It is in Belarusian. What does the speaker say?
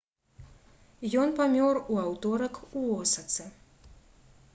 ён памёр у аўторак у осацы